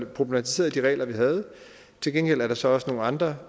problematiserede de regler vi havde til gengæld er der så også nogle andre